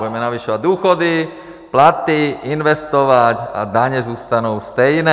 Budeme navyšovat důchody, platy, investovat a daně zůstanou stejné.